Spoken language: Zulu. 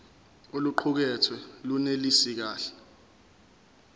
oluqukethwe lunelisi kahle